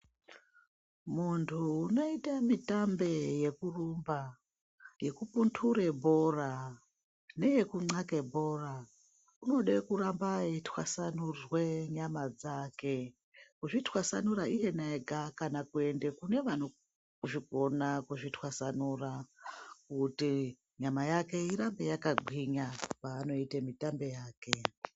Muntu unoite mitambe yekurumba yekuputure bhora neye kunxake bhora. Unode kuramba eitwasanurwe nyama dzake kuzvitwasanura iyena ega, kana kuende kune vanozvigona kuzvitwasanura kuti nyama yake irambe yakagwinya panoita mitambe yake.